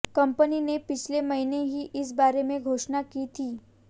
company ने पिछले महीने ही इस बारे में घोषणा की थी